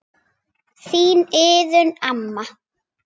Þín Iðunn amma.